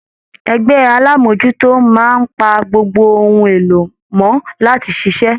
Ẹgbẹ alamojuto máa n pa gbogbo ohùn èlò mọ láti ṣiṣẹ.